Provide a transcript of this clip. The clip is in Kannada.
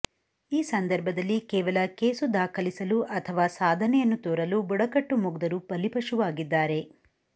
ಈ ಸಂದರ್ಭದಲ್ಲಿ ಕೇವಲ ಕೇಸು ದಾಖಲಿಸಲು ಅಥವಾ ಸಾಧನೆಯನ್ನು ತೋರಲು ಬುಡಕಟ್ಟು ಮುಗ್ಧರು ಬಲಿಪಶುವಾಗಿದ್ದಾರೆ